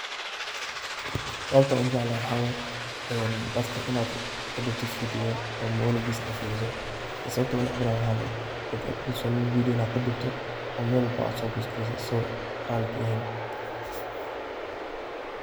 Sababta aan u jeclahay waxaa waay, dadka in aad kadubto video oo maonigisa aad firiso. Sababta aan u nacbinaahay waxaa waay, dad aad ku kalsooniin in aad kadubto oo meel walbo aad soo postingireyso asigoo raali ka ahayn.